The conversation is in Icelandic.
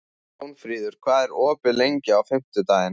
Jónfríður, hvað er opið lengi á fimmtudaginn?